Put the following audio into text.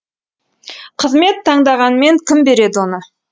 қызмет таңдағанмен кім береді оны